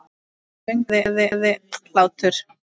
Söngur, gleði, hlátur.